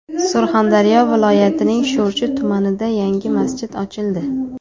Surxondaryo viloyatining Sho‘rchi tumanida yangi masjid ochildi.